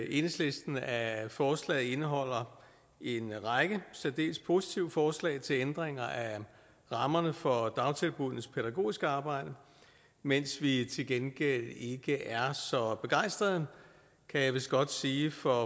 enhedslisten at forslaget indeholder en række særdeles positive forslag til ændringer af rammerne for dagtilbuddenes pædagogiske arbejde mens vi til gengæld ikke er så begejstrede kan jeg vist godt sige for